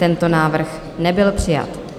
Tento návrh nebyl přijat.